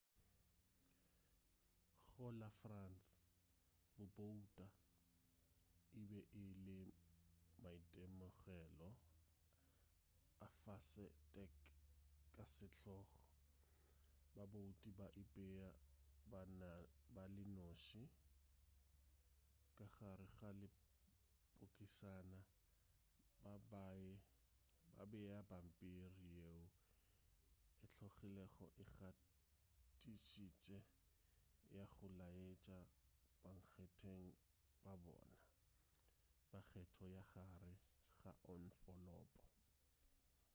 go la france go bouta e be e le maitemogelo a fase-a-tek ka setlogo babouti ba ipea ba le noši ka gare ga lepokisana ba bea pampiri yeo e tlogilego e gatišitše ya go laetša bankgetheng ba bona ba kgetho ka gare ga onfolopo